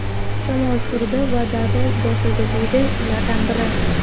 Shamol turdi va darrov bosildi”, deydi ulardan biri.